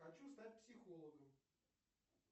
хочу стать психологом